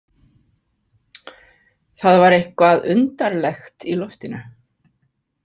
Það var eitthvað undarlegt í loftinu.